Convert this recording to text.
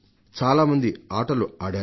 చాలామంది ఆటలు ఆడరు